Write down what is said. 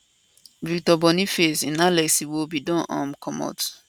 victor boniface in alex iwobi don um comot